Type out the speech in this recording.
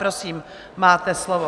Prosím, máte slovo.